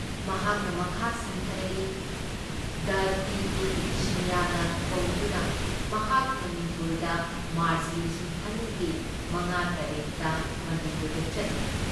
ꯃꯍꯥꯛꯅ ꯃꯈꯥ ꯁꯝꯊꯔꯛꯏ ꯗꯥ ꯇꯤ ꯗꯤ ꯁꯤꯡꯌꯅ ꯀꯧꯗꯨꯅ ꯃꯍꯥꯛ ꯃꯅꯤꯄꯨꯔꯗ ꯃꯥꯔꯆ ꯂꯤꯁꯤꯡ ꯑꯅꯤ ꯒꯤ ꯃꯉꯥ ꯇꯔꯦꯠ ꯗ ꯃꯅꯤꯄꯨꯔꯗ ꯆꯠꯂꯨꯏ ꯫